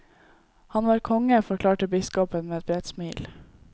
Han var konge, forklarte biskopen med et bredt smil.